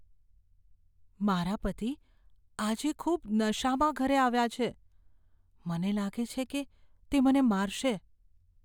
મારા પતિ આજે ખૂબ નશામાં ઘરે આવ્યા છે. મને લાગે છે કે તે મને મારશે.